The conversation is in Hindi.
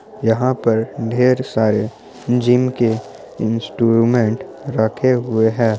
यहाँ पर ढेर सारे जिम के इंस्ट्रूमेंट रखे हुए हैं।